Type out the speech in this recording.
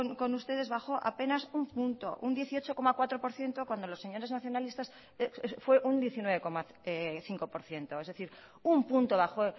con ustedes bajó apenas un punto un dieciocho coma cuatro por ciento cuando los señores nacionalistas fue un diecinueve coma cinco por ciento es decir un punto bajó